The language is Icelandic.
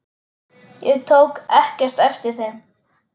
Ég tók ekkert eftir þeim.